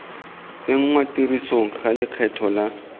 tsenngwa tirisong ga lekgetho la